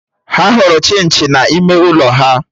Ha hụrụ Chinchi na ime ụlọ ha